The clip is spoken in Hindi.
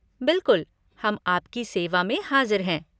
बिलकुल! हम आपकी सेवा में हाज़िर हैं।